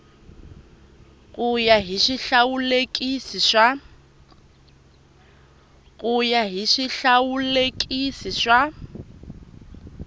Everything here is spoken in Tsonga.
ku ya hi swihlawulekisi swa